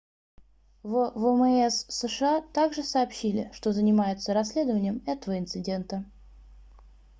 в вмс сша также сообщили что занимаются расследованием этого инцидента